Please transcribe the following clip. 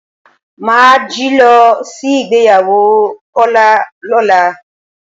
A máa jí lọ sí ìgbéyàwó Kọ́lá lọ́la.